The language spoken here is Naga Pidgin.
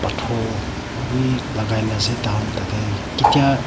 pathor bhi lagai na ase tah khan tah teh kitia--